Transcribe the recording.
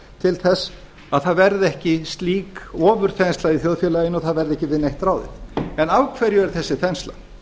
til að það verði ekki slík ofurþensla í þjóðfélaginu að það verði ekki við neitt ráðið en af hverju er þessi þensla